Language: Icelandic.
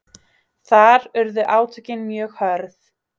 Þar urðu átökin mjög hörð